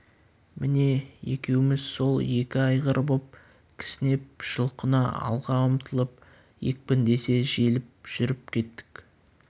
міне екеуміз сол екі айғыр боп кісінеп жұлқына алға ұмтылып екпіндесе желіп жүріп кеттік